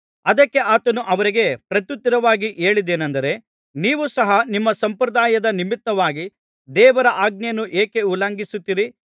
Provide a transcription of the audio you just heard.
ಅದಕ್ಕೆ ಆತನು ಅವರಿಗೆ ಪ್ರತ್ಯುತ್ತರವಾಗಿ ಹೇಳಿದ್ದೇನೆಂದರೆ ನೀವು ಸಹ ನಿಮ್ಮ ಸಂಪ್ರದಾಯದ ನಿಮಿತ್ತವಾಗಿ ದೇವರ ಆಜ್ಞೆಯನ್ನು ಏಕೆ ಉಲ್ಲಂಘಿಸುತ್ತೀರಿ